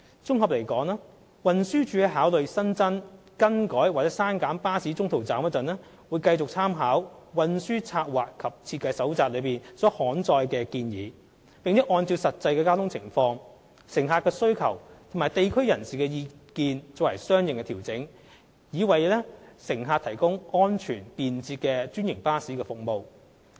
綜合而言，運輸署在考慮新增、更改或刪減巴士中途站時，會繼續參考《運輸策劃及設計手冊》所載的建議，並按實際交通情況、乘客需求，以及地區人士的意見作相應調整，藉以為乘客提供安全便捷的專營巴士服務。